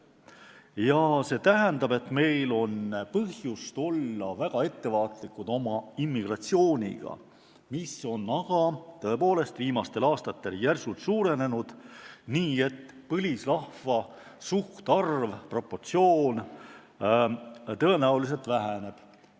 Ja see tähendab, et meil on põhjust oma immigratsiooniga väga ettevaatlikud olla, aga tõepoolest, viimastel aastatel on see järsult suurenenud, nii et põlisrahva suhtarv tõenäoliselt väheneb.